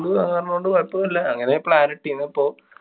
കൊണ്ട് കൊഴപ്പോന്നുല്ല്യാ. അങ്ങനെ plan ഇട്ടിര്‍ന്ന് ഇപ്പൊ.